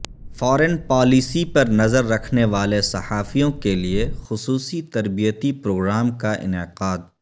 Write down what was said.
foreign policy پر نظر رکھنے والے صحافیوں کیلئے خصوصی تربیتی پروگرام کا انعقاد